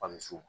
Ka misiw